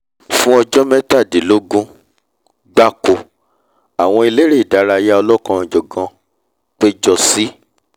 fún ọjọ́ mẹ́tàdínlógún gbáko àwọn eléré idárayá ọlọ́kanòjọ̀kan péjọ sí